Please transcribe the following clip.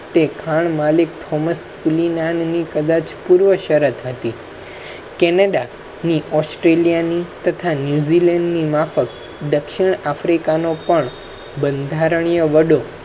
તે ખાણ માલિક થોમસ કદાચ પૂર્વ શરત હતી. canada ની australia ની તથા new zealand ની માફક દક્ષિણ africa નો પણ બંધારણીય વડો